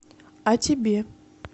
а тебе